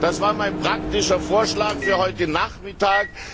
Das war mein praktischer Vorschlag für heute Nachmittag.